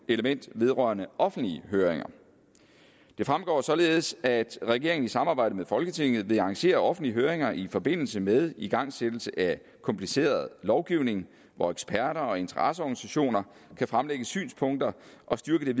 element vedrørende offentlige høringer det fremgår således at regeringen i samarbejde med folketinget vil arrangere offentlige høringer i forbindelse med igangsættelse af kompliceret lovgivning hvor eksperter og interesseorganisationer kan fremlægge synspunkter og styrke